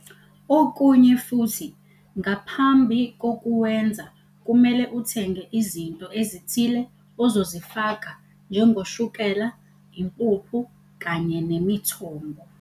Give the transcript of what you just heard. Okunye futhi ngaphambi kokuwenza kumele uthenge izinto ezithile ozozifaka njengoshukela, impuphu kanye nemithombo.